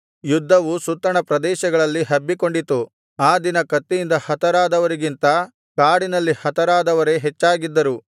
ಯುದ್ಧವು ಸುತ್ತಣ ಪ್ರದೇಶಗಳಲ್ಲಿ ಹಬ್ಬಿಕೊಂಡಿತು ಆ ದಿನ ಕತ್ತಿಯಿಂದ ಹತರಾದವರಿಗಿಂತ ಕಾಡಿನಲ್ಲಿ ಹತರಾದವರೇ ಹೆಚ್ಚಾಗಿದ್ದರು